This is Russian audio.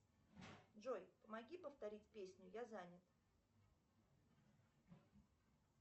джой помоги повторить песню я занят